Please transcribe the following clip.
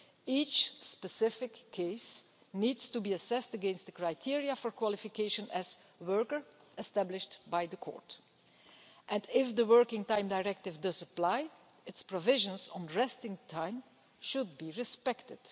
Each specific case needs to be assessed against the criteria for qualification as a worker established by the Court, and, if the Working Time Directive does apply, its provisions on resting time should be respected.